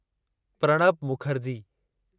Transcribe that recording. Pranab Mukherjee